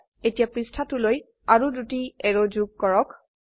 এতিয়া পৃষ্ঠাটোলৈ আৰো দুটি এৰো যোগ কৰক